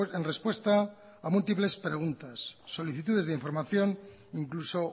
en respuesta a múltiples de preguntas solicitudes de información incluso